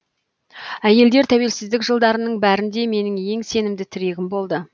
әйелдер тәуелсіздік жылдарының бәрінде менің ең сенімді тірегім болды